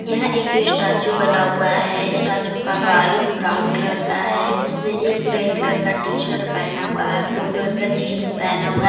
यहां एक स्टेचू बना हुआ है स्टेचू का बाल ब्राउन कलर का है उसने एक रेड कलर का टी शर्ट पेहना हुआ है ब्लू कलर का जींस पेहना हुआ --